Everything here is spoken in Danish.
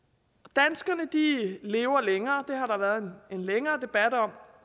danskerne lever længere det har der været en længere debat om